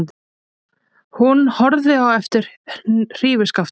Hún horfði á eftir hrífuskaftinu.